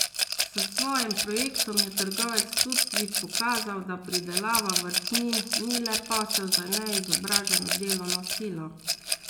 S svojim projektom je trgovec tudi pokazal, da pridelava vrtnin ni le posel za neizobraženo delovno silo.